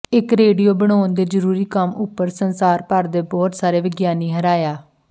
ਇੱਕ ਰੇਡੀਓ ਬਣਾਉਣ ਦੇ ਜ਼ਰੂਰੀ ਕੰਮ ਉੱਪਰ ਸੰਸਾਰ ਭਰ ਦੇ ਬਹੁਤ ਸਾਰੇ ਵਿਗਿਆਨੀ ਹਰਾਇਆ